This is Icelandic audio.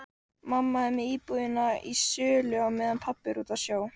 Mamma er með íbúðina í sölu á meðan pabbi er úti á sjó.